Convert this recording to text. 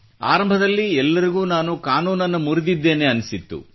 ಆರಂಭದಲ್ಲಿ ಎಲ್ಲರಿಗೂ ನಾನು ಕಾನೂನನ್ನು ಮುರಿದಿದ್ದೇನೆ ಎನ್ನಿಸಿತ್ತು